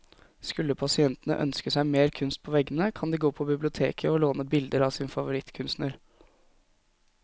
Skulle pasientene ønske seg mer kunst på veggene, kan de gå på biblioteket å låne bilder av sin favorittkunstner.